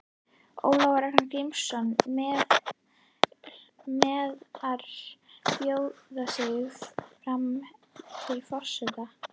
Ólafur Ragnar Grímsson: Meinarðu bjóða mig fram til forseta?